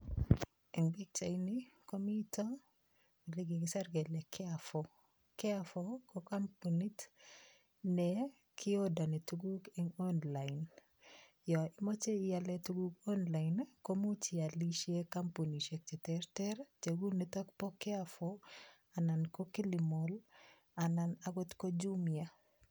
En pichaini komiten ele kigisir kele Carrefour. Carrefour ko kompunit ne kiodareni tuguk en online yon imoche ialen tuguk online ko imuch ialishen kompunishek che terter, cheu niton bo Carrefour anan ko Kilimall anan agot ko Jumia.